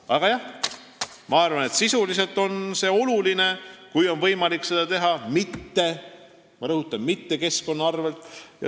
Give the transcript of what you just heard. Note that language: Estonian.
Nii et ma arvan, et võimaluse korral on oluline neid asju teha, aga ma rõhutan, et mitte keskkonna arvel.